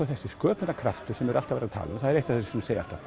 þessi sköpunarkraftur sem er alltaf verið að tala um það er eitt af því sem ég segi alltaf